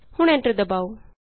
ਹੁਣ ਐਂਟਰ ਦਬਾਉ